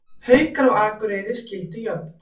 Haukar og Akureyri skildu jöfn